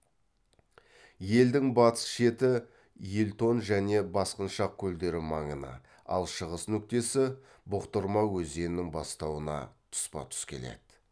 елдің батыс шеті елтон және басқыншақ көлдері маңына ал шығыс нүктесі бұқтырма өзенінің бастауына тұспа тұс келеді